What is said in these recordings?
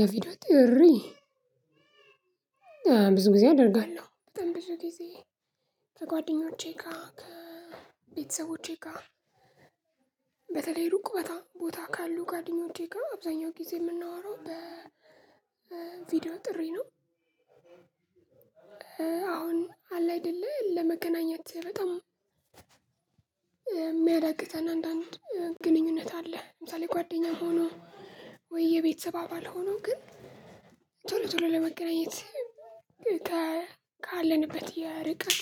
የቪድዮ ጥሪ ብዙ ጊዜ አደርጋለሁ በጣም ብዙ ጊዜ ከጓደኞቼ ጋር ከቤተሰቦቼ ጋር በተለይ ሩቅ ቦታ ቦታ ካሉ ጓደኞቼ ጋር አብዛኛውን ጊዜ የምናወራው በቪዲዮ ጥሪ ነው። አሁን አለ አይደለ ለመገናኘት በጣም የሚያዳግተን አንዳንድ ግንኙነት አለ ለምሳሌ ጓደኛ ሆኖ ወይ የቤተሰብ አባል ሆኖ ግን ቶሎ ቶሎ ለመገናኘት ካለንበት የርቀት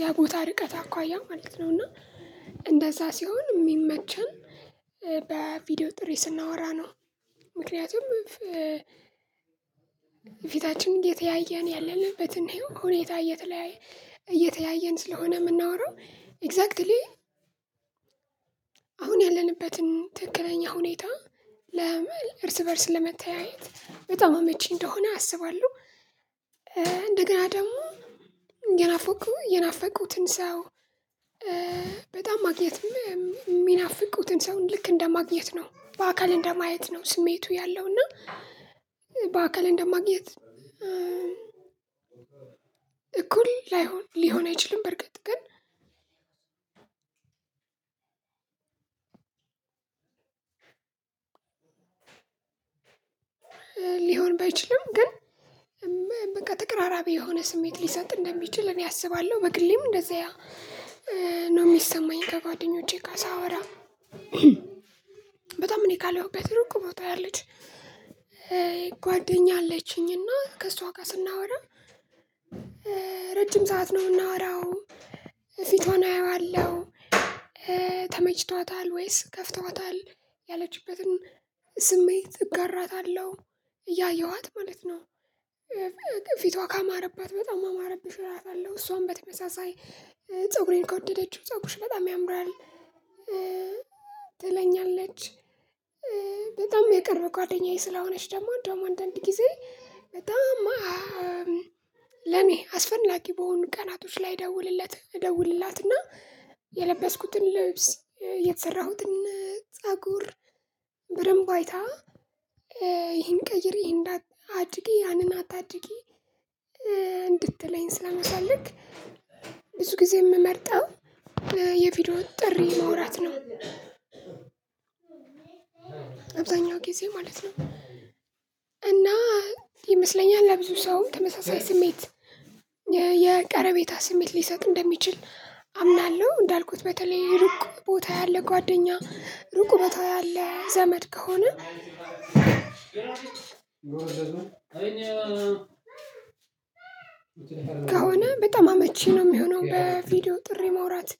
የቦታ ርቀት አኳያ ማለት ነው። እና እንደዛ ሲሆን የሚመቸን በቪዲዮ ጥሬ ስናወራ ነው ምክንያቱም እየተያየን ያለንበትን ሁኔታ እየተለያየ እየተያየን ስለሆነ የምናወራው ኤግዛክትሊ አሁን ያለንበትን ትክክለኛ ሁኔታ ለመል እርስ በእርስ ለመተያየት በጣም አመቺ እንደሆነ አስባለሁ። እንደገና ደግሞ የናፈቁ የናፈቁትን ሰው በጣም ማግኘት የሚናፍቁትን ሰውን ልክ እንደማግኘት ነው በአካል እንደማየት ነው ስሜቱ ያለው እና በአካል እንደማግኘት እኩል ላይሆን ሊሆን አይችልም በርግጥ ግን ሊሆን ባይችልም ግን በቃ ተቀራራቢ የሆነ ስሜት ሊሰጥ እንደሚችል እኔ አስባለሁ በግሌም እንደዚያ ነው። የሚሰማኝ ከጓደኞቼ ጋር ሳወራ በጣም እኔ ካለሁበት ሩቅ ቦታ ያለች ጓደኛ አለችኝ እና ከእሷ ጋር ስናወራ ረጅም ሰዓት ነው የምናወራው ፊቷን አየዋለሁ ተመችቷታል ወይስ ከፍቷታል ያለችበትን ስሜት እጋራታለሁ እያየኋት ማለት ነው። ፊቷ ካማረባት በጣም አማረብሽ እላታለሁ እሷም በተመሳሳይ ፀጉሬን ከወደደችው ፀጉርሽ በጣም ያምራል ትለኛለች። በጣም የቀረበ ጓደኛዬ ስለሆነች ደግሞ አንዳምድ ጊዜ በጣም ለእኔ አስፈላጊ በሆኑ ቀናቶች ላይ እደውልለት እደውልላትና የለበስኩትን ልብስ የተሰራሁትን ፀጉር በደንብ አይታ ይሄን ቀይሪ ይሄን አድርጊ ያንን አታድርጊ እንድትለኝ ስለምፈልግ ብዙ ጊዜ የምመርጠው የቪዲዮውን ጥሪ ማውራት ነው። አብዛኛው ጊዜ ማለት ነው እና ይመስለኛል ለብዙ ሰው ተመሳሳይ ስሜት የቀረቤታ ስሜት ሊሰጥ እንደሚችል አምናለሁ። እንዳልኩት በተለይ ሩቅ ቦታ ያለ ጓደኛ ሩቅ ቦታ ያለ ዘመድ ከሆነ በጣም አመቺ ነው የሚሆነው በቪዲዮ ጥሪ ማውራት።